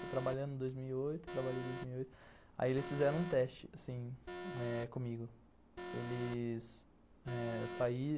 Fui trabalhando em dois mil e oito, trabalhei em dois mil e oito, aí eles fizeram um teste, assim, comigo. Eles saíram